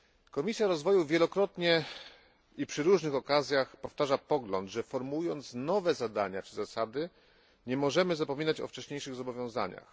Komisja Rozwoju wielokrotnie i przy różnych okazjach powtarza pogląd, że formułując nowe zadania czy zasady nie możemy zapominać o wcześniejszych zobowiązaniach.